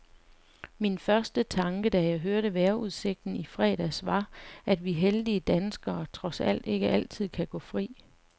Min første tanke, da jeg hørte vejrudsigten i fredags, var, at vi heldige danskere trods alt ikke altid kan gå fri.